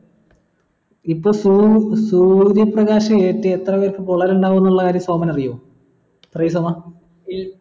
ഇപ്പൊ സൂ സൂര്യ പ്രകാശം ഏറ്റ് എത്രപേർക്ക് പൊള്ളലുണ്ടാകുന്നുള്ള കാര്യം സോമനറിയോ പറയൂ സോമ